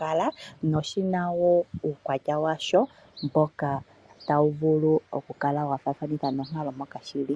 kala noshinawo uukwatya washo moka tawu vulu okukala wafaathanitha nonkalo mpoka shili.